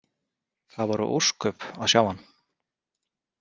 Það voru ósköp að sjá hann.